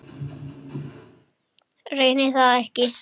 Reyni það ekki.